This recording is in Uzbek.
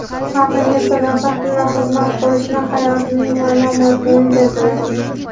xalqimga sadoqat bilan xizmat qilishni hayotimning ma’no-mazmuni deb bilaman.